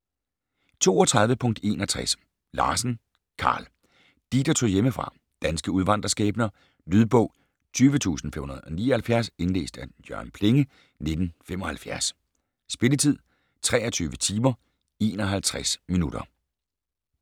32.61 Larsen, Karl: De, der tog hjemmefra Danske udvandrerskæbner. Lydbog 20579 Indlæst af Jørgen Plenge, 1975. Spilletid: 23 timer, 51 minutter.